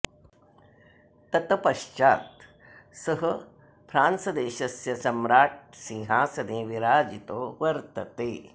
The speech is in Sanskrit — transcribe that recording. तत पश्चात् सः फ्रान्स देशस्य सम्राट सिंहासने विराजितो वर्तते